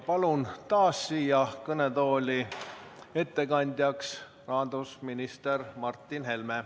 Palun taas siia kõnetooli ettekandjaks rahandusminister Martin Helme.